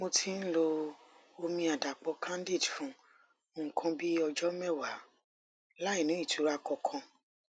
mo ti ń lo omi àdàpò candid fún nǹkan bí ọjọ mẹwàá láìní ìtura kankan